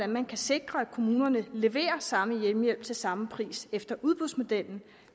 man kan sikre at kommunerne leverer samme hjemmehjælp til samme pris efter udbudsmodellen